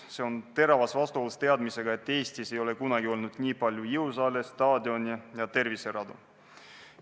See on teravas vastuolus teadmisega, et Eestis ei ole kunagi olnud nii palju jõusaale, staadione ja terviseradu.